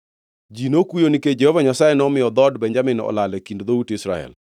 Ji nokuyo nikech Jehova Nyasaye nomiyo dhood Benjamin olal e kind dhout Israel.